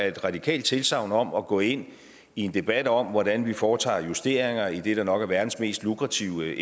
et radikalt tilsagn om at gå ind i en debat om hvordan vi foretager justeringer i det der nok er verdens mest lukrative